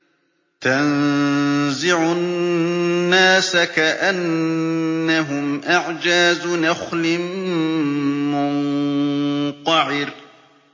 تَنزِعُ النَّاسَ كَأَنَّهُمْ أَعْجَازُ نَخْلٍ مُّنقَعِرٍ